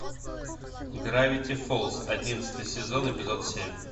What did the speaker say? гравити фолз одиннадцатый сезон эпизод семь